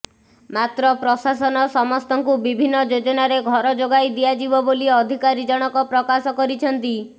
ମାତ୍ର ପ୍ରଶାସନ ସମସ୍ତଙ୍କୁ ବିଭିନ୍ନ ଯୋଜନାରେ ଘର ଯୋଗାଇ ଦିଆଯିବ ବୋଲି ଅଧିକାରୀ ଜଣକ ପ୍ରକାଶ କରିଛନ୍ତି